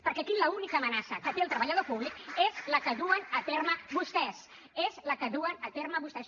perquè aquí l’única amenaça que té el treballador públic és la que duen a terme vostès és la que duen a terme vostès